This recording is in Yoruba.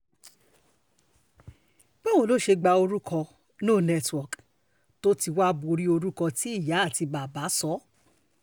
báwo lo ṣe gba orúkọ no network tó ti wàá borí orúkọ tí ìyá àti bàbá sọ ọ́